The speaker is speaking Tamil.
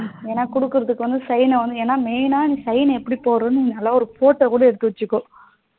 ஏன்னா குடுக்குறதுக்கு வந்து sign னா வந்து ஏன்னா main னா நீ sign னா எப்டி போடுறானு ஒரு photo கூட எடுத்து வச்சிக்கோ